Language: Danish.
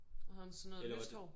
Havde han sådan noget lyst hår?